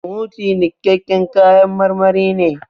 Smoothie nikaƙƙen kayan marmari ne